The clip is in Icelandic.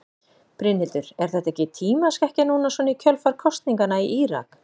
Brynhildur: Er þetta ekki tímaskekkja núna svona í kjölfar kosninganna í Írak?